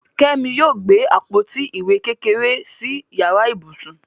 Kẹ́mi yóò gbé àpótí ìwé kékeré sí yàrá ibùsùn.